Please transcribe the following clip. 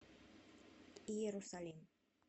иерусалим